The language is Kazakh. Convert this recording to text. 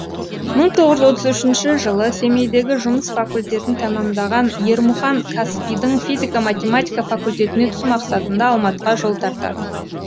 мың тоғыз жүз отыз үшінші жылы семейдегі жұмыс факультетін тәмамдаған ермұхан қазпи дің физика математика факультетіне түсу мақсатында алматыға жол тартады